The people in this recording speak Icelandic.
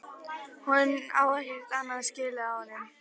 Hún á ekkert annað skilið af honum.